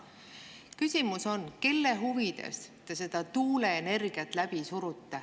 Küsimus on, kelle huvides te tuuleenergiat läbi surute.